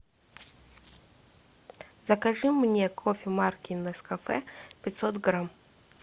закажи мне кофе марки нескафе пятьсот грамм